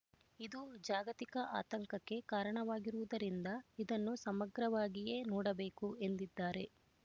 ಇದು ಜಾಗತಿಕ ಆತಂಕಕ್ಕೆ ಕಾರಣವಾಗಿರುವುದರಿಂದ ಇದನ್ನು ಸಮಗ್ರವಾಗಿಯೇ ನೋಡಬೇಕು ಎಂದಿದ್ದಾರೆ